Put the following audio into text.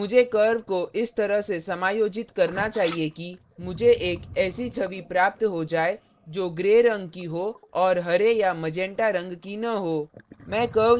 अब मुझे curve को इस तरह से समायोजित करना चाहिए कि मुझे एक ऐसी छवि प्राप्त हो जाए जो gray रंग की हो और हरे या मैजंटा रंग की न हो